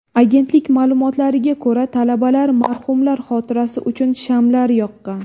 Agentlik ma’lumotlariga ko‘ra, talabalar marhumlar xotirasi uchun shamlar yoqqan.